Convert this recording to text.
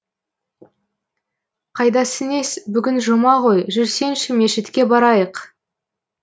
қайдасы нес бүгін жұма ғой жүрсеңші мешітке барайық